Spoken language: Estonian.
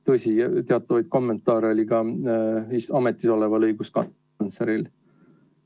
Tõsi, teatavaid kommentaare oli ka ametis oleval õiguskantsleril.